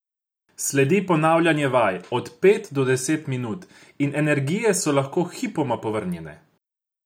Sledi ponavljanje vaj, od pet do deset minut, in energije so lahko hipoma povrnjene.